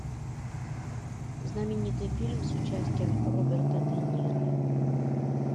знаменитый фильм с участием роберта де ниро